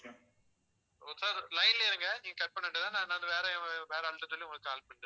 sir line லயே இருங்க நீங்க cut பண்ண வேண்டியதுதானே நான்~நான் வேற~வேற ஆள்கிட்ட சொல்லி உங்களுக்கு call பண்ணி